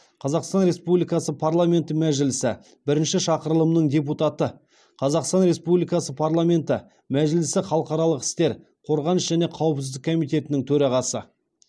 қазақстан республикасы парламенті мәжілісі бірінші шақырылымының депутаты қазақстан республикасы парламенті мәжілісі халықаралық істер қорғаныс және қауіпсіздік комитетінің төрағасы